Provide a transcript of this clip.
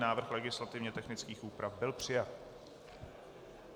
Návrh legislativně technických úprav byl přijat.